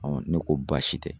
ne ko baasi tɛ.